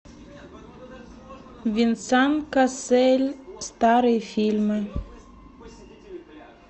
венсан кассель старые фильмы